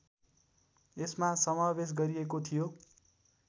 यसमा समावेश गरिएको थियो